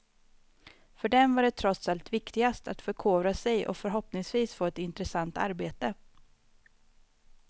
För dem var det trots allt viktigast att förkovra sig och förhoppningsvis få ett intressant arbete.